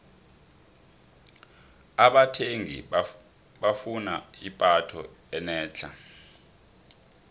abathengi bafuna ipatho enetlha